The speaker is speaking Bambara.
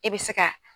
E bɛ se ka